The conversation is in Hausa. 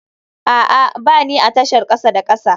A'a, ba ni a tashar kasa da kasa